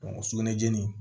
sugunɛbilennin